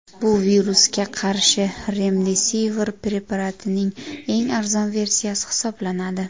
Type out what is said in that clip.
Bu virusga qarshi remdesivir preparatining eng arzon versiyasi hisoblanadi.